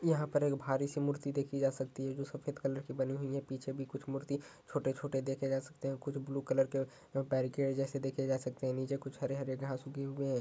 यहाँ पर एक भारी सी मूर्ति देखी जा सकती है जो सफेद कलर की बनी हुई है। पीछे भी कुछ मूर्ति छोटे-छोटे देखें जा सकते हैं। कुछ ब्लू कलर के पेरिकेट जैसे देखें जा सकते हैं। नीचे कुछ हरे हरे घास उगे हुए हैं।